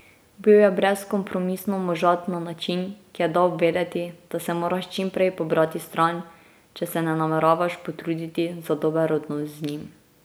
Bil je brezkompromisno možat na način, ki je dal vedeti, da se moraš čim prej pobrati stran, če se ne nameravaš potruditi za dober odnos z njim.